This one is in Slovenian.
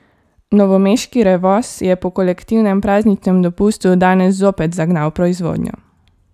Novomeški Revoz je po kolektivnem prazničnem dopustu danes zopet zagnal proizvodnjo.